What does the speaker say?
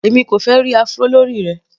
Èmi kò fẹ́ ẹ́ rí Afro lórí rẹ.